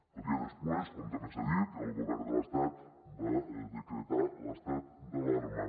el dia després com també s’ha dit el govern de l’estat va decretar l’estat d’alarma